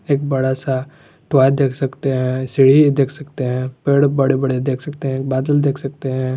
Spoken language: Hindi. एक बड़ा सा टॉय देख सकते हैं सीढ़ी देख सकते हैं पेड़ बड़े बड़े देख सकते हैं बादल देख सकते हैं।